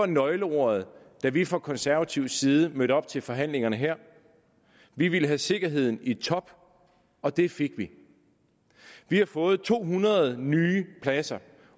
nøgleordet da vi fra konservativ side mødte op til forhandlingerne her vi ville have sikkerheden i top og det fik vi vi har fået to hundrede nye pladser